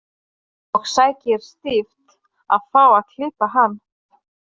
Og sækir stíft að fá að klippa hann.